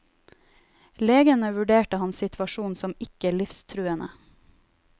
Legene vurderte hans situasjon som ikke livstruende.